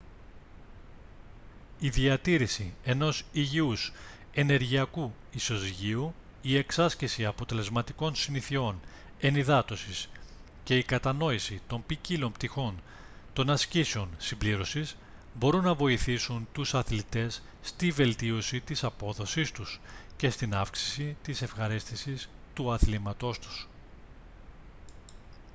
η διατήρηση ενός υγιούς ενεργειακού ισοζυγίου η εξάσκηση αποτελεσματικών συνηθειών ενυδάτωσης και η κατανόηση των ποικίλων πτυχών των ασκήσεων συμπλήρωσης μπορούν να βοηθήσουν τους αθλητές στη βελτίωση της απόδοσής τους και στην αύξηση της ευχαρίστησης του αθλήματός τους